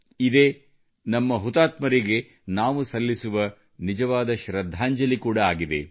ಇದೇ ನಮ್ಮ ಹುತಾತ್ಮರಿಗೆ ನಾವು ನೀಡುವ ನಿಜವಾದ ಶ್ರದ್ಧಾಂಜಲಿ ಕೂಡ ಆಗಿದೆ